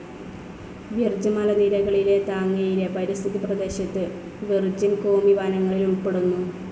വിർജ് മലനിരകളിലെ താങ്ങയിലെ പരിസ്ഥിതി പ്രദേശത്തു വിർജിൻ കോമി വനങ്ങളിൽ ഉൾപ്പെടുന്നു.